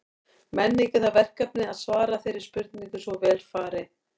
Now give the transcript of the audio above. Menning er það verkefni að svara þeirri spurningu svo vel fari.